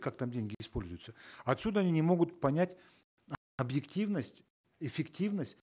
как там деньги используются отсюда они не могут понять объективность эффективность